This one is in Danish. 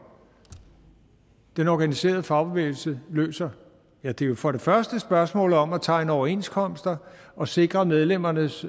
den organiserede fagbevægelse løser ja det er jo for det første et spørgsmål om at tegne overenskomster og sikre medlemmernes